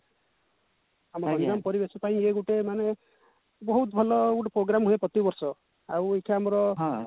ଆମ ଗଞ୍ଜାମ ପରିବେଶ ପାଇଁ ଇଏ ଗୋଟେ ମାନେ ବହୁତ ଭଲ ଗୋଟେ program ହୁଏ ଆମର ପ୍ରତି ବର୍ଷ ଆଉ ଏଠି ଆମର